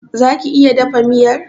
Za ki iya dafa miyar?